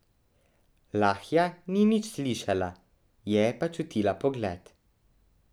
Lahja ni nič slišala, je pa čutila pogled.